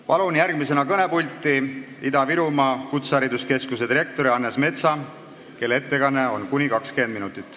Palun järgmisena kõnepulti Ida-Virumaa Kutsehariduskeskuse direktori Hannes Metsa, kelle ettekanne kestab kuni 20 minutit.